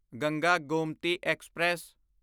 Ganga Gomti express